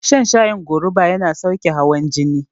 Shan shayin goruba yana sauke hawan jini